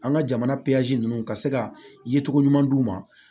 An ka jamana ninnu ka se ka ye cogo ɲuman d'u ma